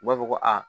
U b'a fɔ ko aa